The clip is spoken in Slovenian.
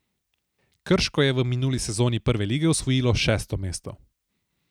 Krško je v minuli sezoni Prve lige osvojilo šesto mesto.